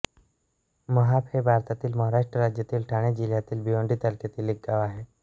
महाप हे भारतातील महाराष्ट्र राज्यातील ठाणे जिल्ह्यातील भिवंडी तालुक्यातील एक गाव आहे